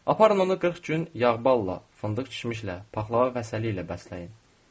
Aparın onu 40 gün yağ balla, fındıq içmişlə, paxlava və sairə ilə bəsləyin.